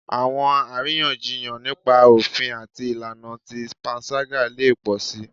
Awọn ariyanjiyan nipa ofin ati ilana ti panṣaga le pọ si